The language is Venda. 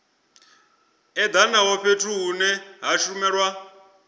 edanaho fhethu hune ha shumelwa